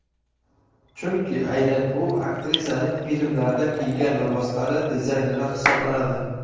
Chunki aynan u aktrisaning filmlarda kiygan liboslari dizayneri hisoblanadi.